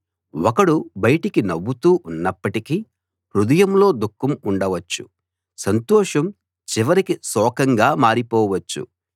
ఒకడు బయటికి నవ్వుతో ఉన్నప్పటికీ హృదయంలో దుఃఖం ఉండవచ్చు సంతోషం చివరికి శోకంగా మారిపోవచ్చు